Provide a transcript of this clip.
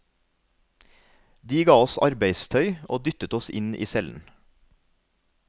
De ga oss arbeidstøy og dyttet oss inn i cellen.